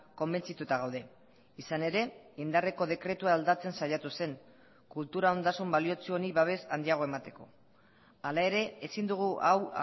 konbentzituta gaude izan ere indarreko dekretua aldatzen saiatu zen kultura ondasun baliotsu honi babes handiagoa emateko hala ere ezin dugu hau